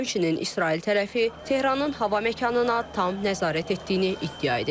Həmçinin İsrail tərəfi Tehranın hava məkanına tam nəzarət etdiyini iddia edib.